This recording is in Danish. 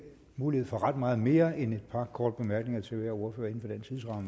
mulighed for ret meget mere end et par korte bemærkninger til hver ordfører